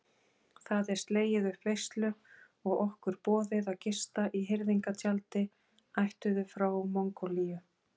Það er slegið upp veislu og okkur boðið að gista í hirðingjatjaldi ættuðu frá Mongólíu.